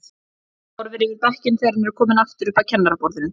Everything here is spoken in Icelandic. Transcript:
Hann horfir yfir bekkinn þegar hann er kominn aftur upp að kennaraborðinu.